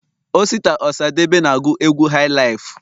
osita osadebe na agu egwu hailaifu